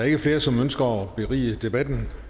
ikke flere som ønsker at berige debatten